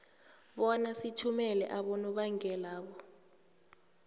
bona sithumele abonobangelabo